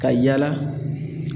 Ka yaala